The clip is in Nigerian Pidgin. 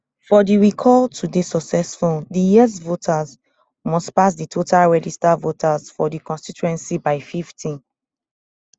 for di recall to dey successful di yes votes must pass di total registered voters for di constituency by fifty